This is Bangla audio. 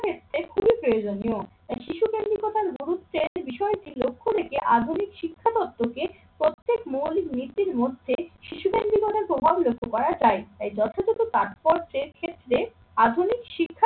ক্ষেত্রে খুবই প্রয়োজনীয়। তাই শিশুকেন্দ্রিকতা গুরুত্বের বিষয়টি লক্ষ্য রেখে আধুনিক শিক্ষা দফতরকে প্রত্যেক মৌলিক নীতির মধ্যে শিশুদের জীবনে প্রভাব লক্ষ্য করা যায়। তাই যথাযথ তাৎপর্যের ক্ষেত্রে আধুনিক শিক্ষার